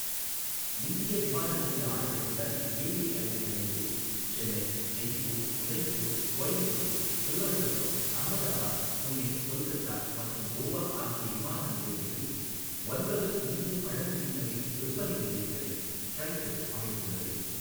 இந்திய விமான நிலைய ஆணையத்துடன் ஏஏஐ இணைந்து, சென்னை, ஜெய்ப்பூர், உதய்பூர், கோயம்புத்தூர், திருவனந்தபுரம், அகமதாபாத், புனே, கொல்கத்தா மற்றும் கோவா ஆகிய விமான நிலையங்களில் ஒன்பது இந்திய பழங்குடியினரின் விற்பனை நிலையங்களை ட்ரைஃபெட் அமைத்துள்ளது.